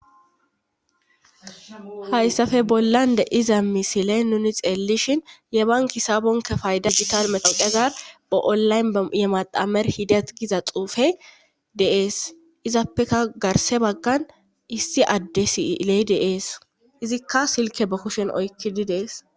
hayssafe bollan de'iza misile nuni xeelishin yebankisaabonke fayda gital metoqezar ba7olayn ye madamer hidat giza xuufe deees izappeka garse baggan issi adde siley de'ees izikka silke ba kushen oykkidi dees